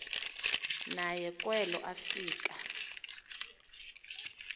naye kwelo afika